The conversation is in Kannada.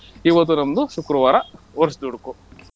ಇವತ್ತು ನಮ್ದು ಶುಕ್ರವಾರ ವರ್ಷದುಡುಕು.